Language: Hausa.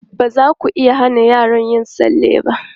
Ba za ku iya hana yara yin tsalle ba.